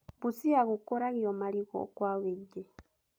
Busia gũkũragio marigũ kwa wĩingĩ.